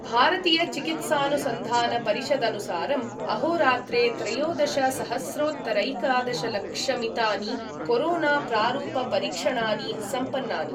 भारतीयचिकित्सानुसन्धानपरिषदनुसारम् अहोरात्रे त्रयोदशसहस्रोत्तरैकादशलक्षमितानि कोरोना प्रारूपपरीक्षणानि सम्पन्नानि।